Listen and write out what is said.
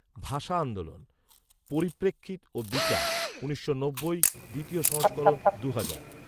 ভাষা আন্দোলন, পরিপ্রেক্ষিত ও বিচার, উনিশশো নব্বই, দ্বিতীয় সংস্করণ দুহাজার